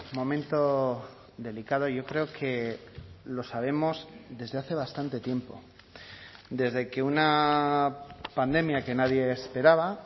momento delicado yo creo que lo sabemos desde hace bastante tiempo desde que una pandemia que nadie esperaba